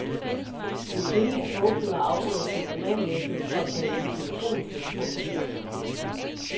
En kvindelig togfører afbryder sin romanlæsning for at tale i telefon med turfordeleren.